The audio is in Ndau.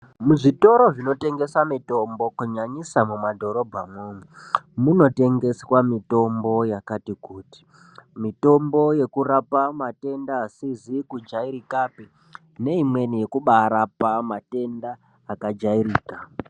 Muzvitoro zvinotengese mitombo, nyanyisa muma dhorobhamo ,muno tengeswa mitombo yakati kuti. Mitombo yekurapa matenda asizi kujairikapi, neimweni yekurapa matenda akajairika.